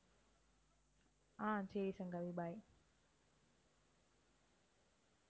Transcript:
ஆஹ் சரி சங்கவி bye